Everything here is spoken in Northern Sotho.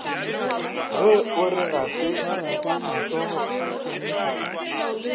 ge o re ga se